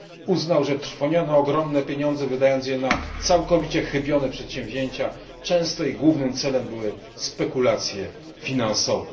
Uznał, że trwoniono ogromne pieniądze, wydając je na całkowicie chybione przedsięwzięcia, a często ich głównym celem były spekulacje finansowe.